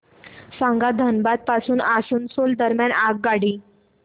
सांगा धनबाद पासून आसनसोल दरम्यान आगगाडी